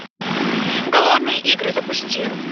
голодные игры запусти